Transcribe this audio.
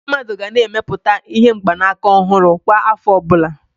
Ndị mmadụ ga na-emepụta ihe mgbanaka ọhụrụ kwa afọ obula